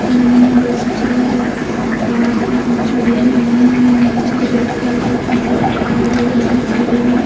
गले में मंगल सूत्र है वह हाथ में चूड़ियाँ पहनी हुई है नीचे रेड कार्पेट नजर आ रहा है वो डांस कर रही है।